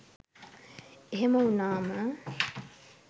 එහෙම වුණාම